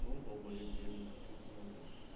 ну далбоеб я не хочу усыновлять